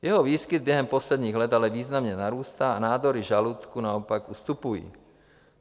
Jeho výskyt během posledních let ale významně narůstá a nádory žaludku naopak ustupují.